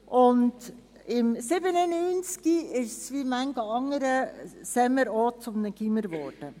1997 wurde es, wie manch anderes Lehrerseminar, zu einem Gymnasium.